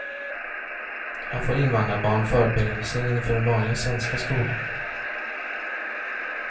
Här får invandrarbarn förberedelser inför den vanliga svenska skolan.